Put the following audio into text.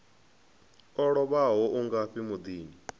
o lovhaho u ngafhi muḓini